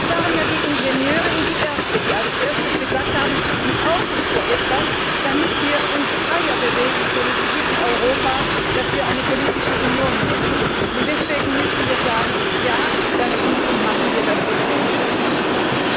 Es waren ja die Ingenieure und die Ärzte, die als Erstes gesagt haben Wir brauchen so etwas, damit wir uns freier bewegen können in diesem Europa, das wir eine politische Union nennen, und deswegen müssen wir dazu Ja sagen und es so schnell wie möglich machen.